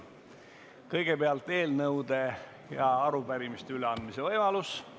Kõigepealt on eelnõude ja arupärimiste üleandmise võimalus.